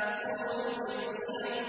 جَاءَتْهُمُ الْبَيِّنَةُ